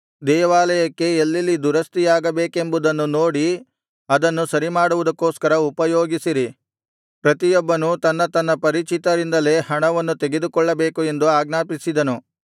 ದೇವಾಲಯಕ್ಕೆ ಎಲ್ಲೆಲ್ಲಿ ದುರಸ್ತಿಯಾಗಬೇಕೆಂಬುದನ್ನು ನೋಡಿ ಅದನ್ನು ಸರಿಮಾಡುವುದಕ್ಕೋಸ್ಕರ ಉಪಯೋಗಿಸಿರಿ ಪ್ರತಿಯೊಬ್ಬನೂ ತನ್ನ ತನ್ನ ಪರಿಚಿತರಿಂದಲೇ ಹಣವನ್ನು ತೆಗೆದುಕೊಳ್ಳಬೇಕು ಎಂದು ಆಜ್ಞಾಪಿಸಿದನು